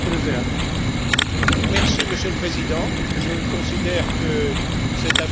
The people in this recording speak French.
Monsieur le Président, je considère que cette affaire est d'une extrême gravité.